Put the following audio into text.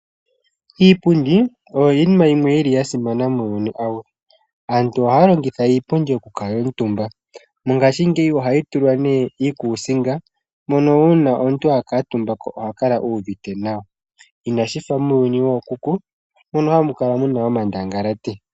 Iipundi oyo iinima yimwe yili yasimana muuyuni . Aantu ohaya longitha iipundi okukala omutumba . Mongaashingeyi ohayi tulwa iikuusinga mono uuna omuntu akuutumbako oha kala uuvite nawa, inashi fa muuyuni wookuku mono hamu kala muna omandangalati.